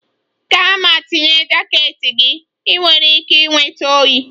Gaa ma tinye jaket gị! Ị nwere ike ịnweta oyi.